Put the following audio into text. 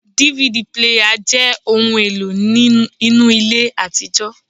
DVD píléyà jẹ́ ohun èlò inú ilé àtijọ́